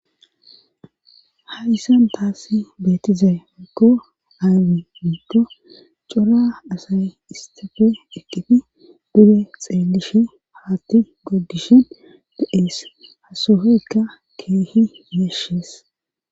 Hayssan taasi beetizay akko aawi miikko cora asay istafe eqqifi buge xeelishi haatti goggishin be7ees hasohoykka keehi yeeshees